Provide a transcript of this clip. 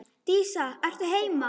Dísa er heima!